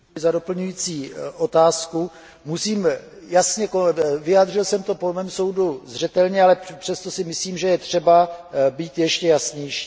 Děkuji za doplňující otázku. Vyjádřil jsem to po mém soudu zřetelně, ale přesto si myslím, že je třeba být ještě jasnější.